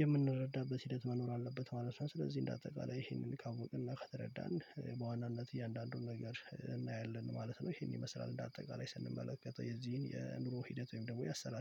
የምንረዳበት ሂደት መኖር አለበት ማለት ነው። ስለዚህ እንደ አጠቃላይ ይሄንን ካወቅንና ከተረዳን በዋናነት እያንዳንዱን ነገር እናያለን ማለት ነው። ይሄን ይመስላል እንደ አጠቃላይ ስንመለከተው የዚህን የኑሮ ሂደት ወይም ደግሞ ያሰላል